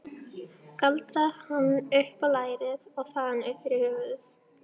Galdraði hann upp á lærið og þaðan upp fyrir höfuðið.